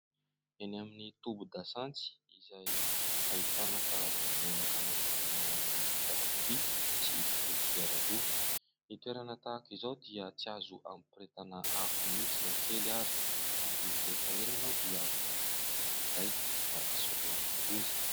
Eny amin'ny tobin-dasantsy izay ahitana karazana menaka natokana ho an'ny fiarakodia sy ireo kodiaran-droa. Ny toerana tahaka izao dia tsy azo ampirehetana afo mihitsy na kely ary ; ary rehefa eny ianao dia vonoina mihitsy ny finday mba hisoroana ny loza.